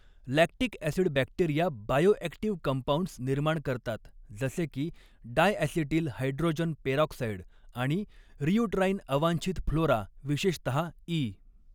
Lactic acid bacteria bioactive compounds निर्माण करतात जसेकी डायॲसिटिल हायड्रोजन पेरॉक्साइड आणि रियूटराइन अवांछित फ्लोरा विशेषतः ई.